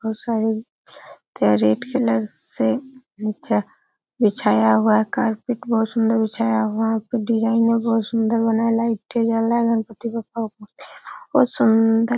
बहोत सारे का रेड कलर से नीचे बिछाया हुआ है कार्पेट बहोत सुन्दर बिछाया हुआ उसपे डिजाईन बहोत सुन्दर लाइट जल रहा है| गणपती बप्पा पर बहोत सुंदर --